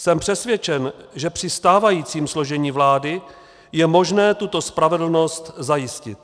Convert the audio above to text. Jsem přesvědčen, že při stávajícím složení vlády je možné tuto spravedlnost zajistit.